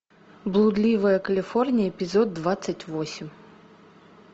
блудливая калифорния эпизод двадцать восемь